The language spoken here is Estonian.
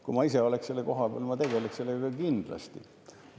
Kui ma ise oleks selle koha peal, ma tegeleks sellega kindlasti.